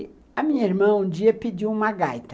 E a minha irmã um dia pediu uma gaita.